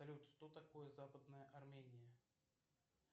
салют что такое западная армения